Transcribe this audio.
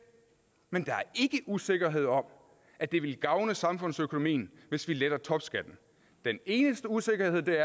men der er ikke usikkerhed om at det vil gavne samfundsøkonomien hvis vi letter topskatten den eneste usikkerhed der